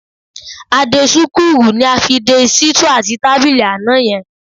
A-dé-súkúrù ni a fi de sítúù àti tábìlì àná yẹn